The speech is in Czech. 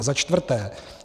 A za čtvrté.